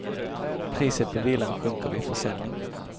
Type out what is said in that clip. Priset på villan sjunker vid försäljning.